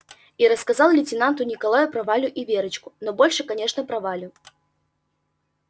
и рассказал лейтенанту николаю про валю и верочку но больше конечно про валю